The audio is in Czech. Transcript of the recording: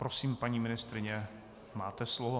Prosím, paní ministryně, máte slovo.